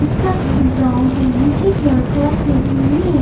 इसका colour brown है नीचे की ओर टाइल्स लगी हुई है।